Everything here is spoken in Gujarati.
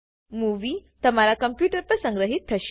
મુવી તમારા કમ્પુટર પર સંગ્રહિત થશે